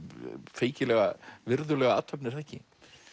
feikilega virðulega athöfn er það ekki